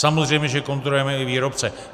Samozřejmě že kontrolujeme i výrobce.